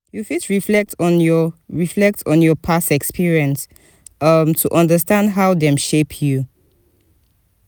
you fit reflect on your reflect on your past experience um to understand how dem shape you.